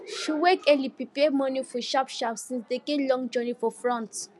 she wake early prepare morning food sharp sharp since dem get long journey for front